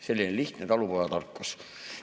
Selline lihtne talupojatarkus.